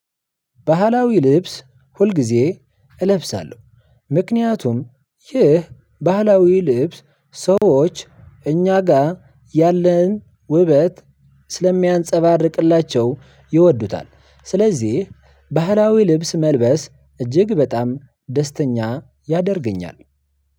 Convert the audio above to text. ባህላዊ ልብስ ሁልጊዜ እለብሳለሁ። ምክንያቱም ይህ ባህላዊ ልብስ ሰዎች እኛ ጋር ያለህን ውበት ስለሚያንፀባርቅላቸው ይወዱታል። ስለዚህ ባህላዊ ልብስ መልበስ እጅግ በጣም ደስተኛ ያደርገኛል።